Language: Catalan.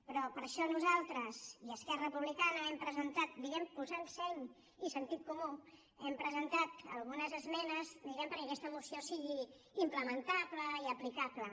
però per això nosaltres i esquerra republicana hem presentat diguemne posant seny i sentit comú algunes esmenes diguemne perquè aquesta moció sigui implementable i aplicable